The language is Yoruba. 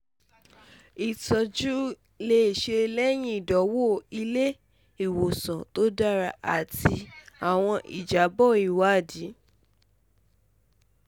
itọju le ṣee ṣe lẹhin idanwo ile-iwosan to dara ati awọn ijabọ iwadii